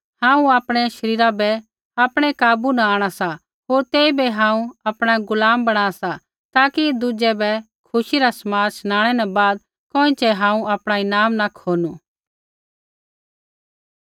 हांऊँ आपणै शरीरा बै आपणै काबू न आंणा सा होर तेइबै हांऊँ आपणा गुलाम बणा सा ताकि दुज़ै बै खुशी रा समाद शनाणै न बाद कोइँछ़ै हांऊँ आपणा ईनाम न खोनू